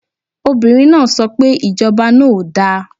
Obìnrin náà so pe Ìjọba náà ò da